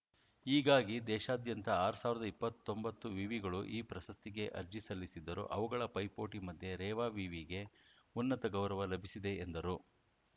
ಹೀಗಾಗಿ ದೇಶಾದ್ಯಂತ ಆರ್ ಸಾವಿರದ ಇಪ್ಪತ್ತೊಂಬತ್ತು ವಿವಿಗಳು ಈ ಪ್ರಶಸ್ತಿಗೆ ಅರ್ಜಿ ಸಲ್ಲಿಸಿದ್ದರೂ ಅವುಗಳ ಪೈಪೋಟಿ ಮಧ್ಯೆ ರೇವಾ ವಿವಿಗೆ ಉನ್ನತ ಗೌರವ ಲಭಿಸಿದೆ ಎಂದರು